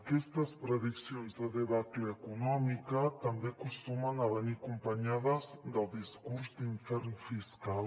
aquestes prediccions de debacle econòmica també acostumen a venir acompanyades del discurs d’infern fiscal